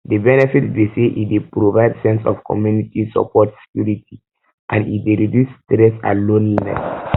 de benefits be say e dey provide sense of community support security and e dey reduce stress and loneliness